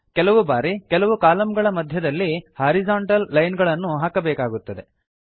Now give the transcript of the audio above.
ಕೆಲವು ಬಾರಿ ಕೆಲವು ಕಾಲಂಗಳ ಮಧ್ಯದಲ್ಲಿ ಹಾರಿಜಾಂಟಲ್ ಲೈನ್ ಗಳನ್ನು ಹಾಕಬೇಕಾಗುತ್ತದೆ